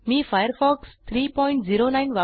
मी Firefox 309